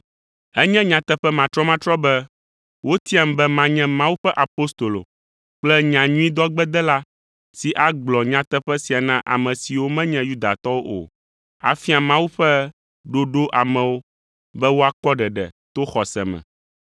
Enye nyateƒe matrɔmatrɔ be wotiam be manye Mawu ƒe apostolo kple nyanyuidɔgbedela si agblɔ nyateƒe sia na ame siwo menye Yudatɔwo o; afia Mawu ƒe ɖoɖo amewo be woakpɔ ɖeɖe to xɔse me.